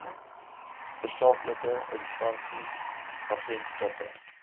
tersaaklike instansies agentskappe